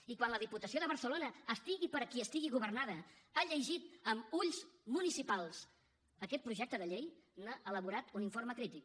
i quan la diputació de barcelona estigui per qui estigui governada ha llegit amb ulls municipals aquest projecte de llei n’ha elaborat un informe crític